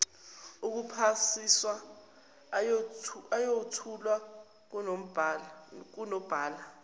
okuphasisa ayothulwa kunobhala